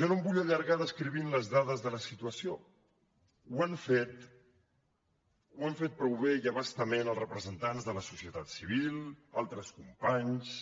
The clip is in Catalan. jo no em vull allargar descrivint les dades de la situació ho han fet ho han fet prou bé i a bastament els representants de la societat civil altres companys